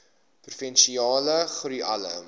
provinsiale groei alle